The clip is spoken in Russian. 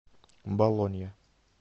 болонья